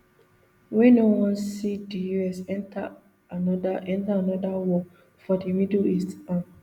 wey no wan see di us enta anoda enta anoda war for di middle east um